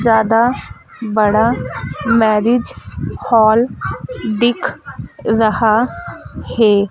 ज्यादा बड़ा marriage hall दिख रहा है।